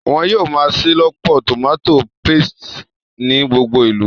Wọ́n yóò máa ṣelọpọ tòmátò paste ní gbogbo ìlú